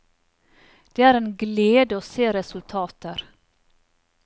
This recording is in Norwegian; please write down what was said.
Det er en glede å se resultater.